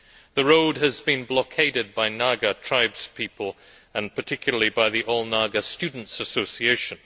The road has been blockaded by Naga tribespeople and particularly by the All Naga Students' Association.